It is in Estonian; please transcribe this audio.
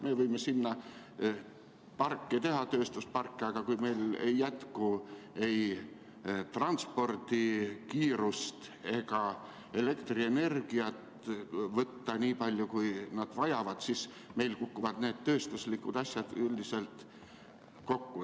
Me võime sinna tööstusparke teha, aga kui ei jätku transpordikiirust ega ole elektrienergiat võtta nii palju, kui nad vajavad, siis kukuvad need tööstuslikud asjad üldiselt kokku.